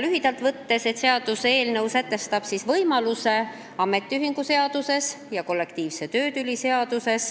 Lühidalt kokku võttes näeb seaduseelnõu ette võimaluse ametiühingute seaduses ja kollektiivse töötüli lahendamise seaduses